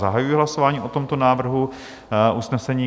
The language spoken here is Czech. Zahajuji hlasování o tomto návrhu usnesení.